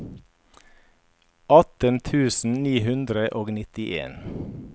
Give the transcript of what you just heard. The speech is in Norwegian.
atten tusen ni hundre og nittien